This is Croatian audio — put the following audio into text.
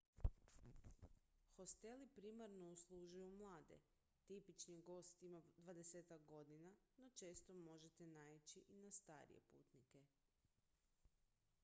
hosteli primarno uslužuju mlade tipični gost ima dvadesetak godina no često možete naići i na starije putnike